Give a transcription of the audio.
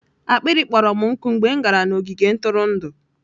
akpịrị kpọrọ m nkụ mgbe m gara n'ogige ntụrụndụ.